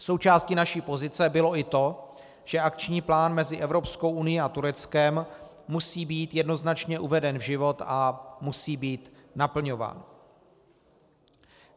Součástí naší pozice bylo i to, že akční plán mezi Evropskou unií a Tureckem musí být jednoznačně uveden v život a musí být naplňován.